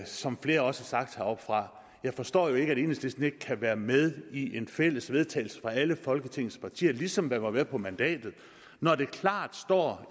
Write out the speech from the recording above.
som flere også har sagt heroppefra jeg forstår ikke at enhedslisten ikke kan være med i et fælles vedtagelse fra alle folketingets partier ligesom man var med på mandatet når der klart står